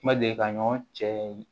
Kuma deli ka ɲɔgɔn cɛ